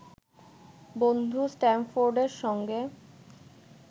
বন্ধু স্ট্যামফোর্ডের সঙ্গে